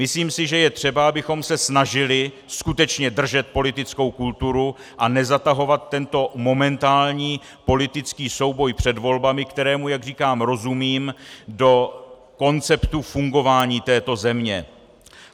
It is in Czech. Myslím si, že je třeba, abychom se snažili skutečně držet politickou kulturu a nezatahovat tento momentální politický souboj před volbami, kterému, jak říkám, rozumím, do konceptu fungování této země.